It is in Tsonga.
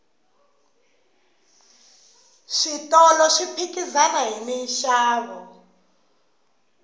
switolo swi phikizana hi minxavo